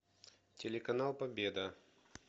телеканал победа